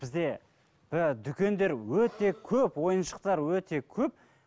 бізде ііі дүкендер өте көп ойыншықтар өте көп